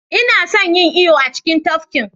Ina son yin iyo a cikin tafkin